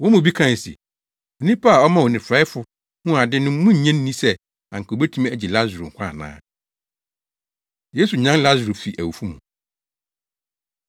Wɔn mu bi kae se, “Onipa a ɔmaa onifuraefo huu ade no munnnye nni sɛ anka obetumi agye Lasaro nkwa ana?” Yesu Nyan Lasaro Fi Awufo Mu